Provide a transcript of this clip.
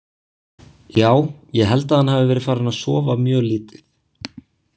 Já, ég held að hann hafi verið farinn að sofa mjög lítið.